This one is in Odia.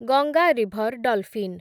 Ganga river dolphin